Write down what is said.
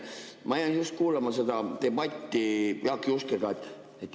Ma jäin kuulama seda debatti Jaak Juskega.